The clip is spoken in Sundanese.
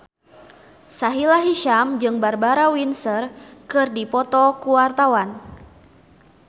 Sahila Hisyam jeung Barbara Windsor keur dipoto ku wartawan